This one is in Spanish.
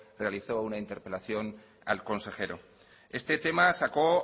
realizó una interpelación al consejero este tema sacó